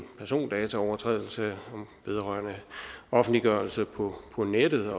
persondataovertrædelse vedrørende offentliggørelse på nettet